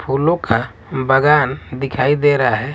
फूलों का बागान दिखाई दे रहा है।